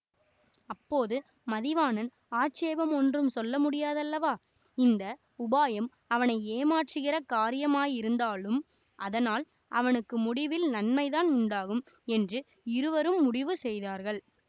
அப்போது மதிவாணன் ஆட்சேபம் ஒன்றும் சொல்ல முடியாதல்லவா இந்த உபாயம் அவனை ஏமாற்றுகிற காரியமாயிருந்தாலும் அதனால் அவனுக்கு முடிவில் நன்மைதான் உண்டாகும் என்று இருவரும் முடிவு செய்தார்கள்